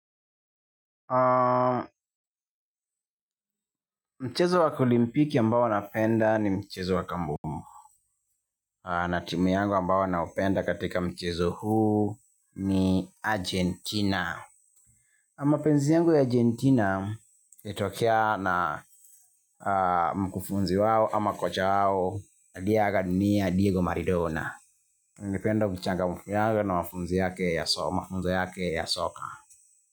Mchezo wa olimpiki ambao napenda ni mchezo wa kandanda. Na timu yangu ambayo naipenda katika mchezo huu ni Argentina. Mapenzi yangu ya Argentina ilitokea na mkufunzi wao ama kocha wao, aliyeaga dunia Diego Maradona. Nilipenda uchangamfu wake na mafunzo yake ya soka.